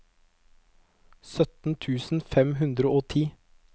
sytten tusen fem hundre og ti